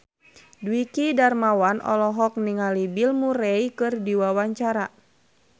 Dwiki Darmawan olohok ningali Bill Murray keur diwawancara